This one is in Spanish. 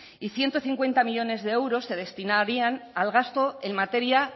y ciento cincuenta millónes de euros se destinarían al gasto en materia